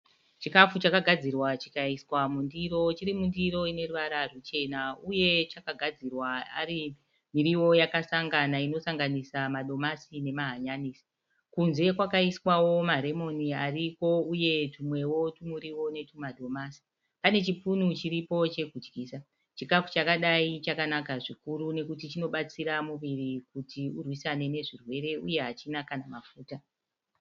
Chikafu chakagadzirwa chikaiswa mundiro. Chiri mundiro ine ruvara ruchena uye chakagadzirwa ari miriwo yakasanganiswa inosanganisira madomasi nemahanyanisi. Kunze kwakaiswawo maremoni ariko uyewo twumwewo twumuriwo netwumadomasi. Pane chipunu chiripo chokudyisa. Chikafu chakadai chakanaka zvikuru nekuti chinobatsira muviri kuti urwisane nezvirwere uye hachina kana mafuta.